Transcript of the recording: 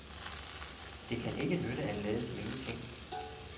Det kan ikke nytte at lade som ingenting.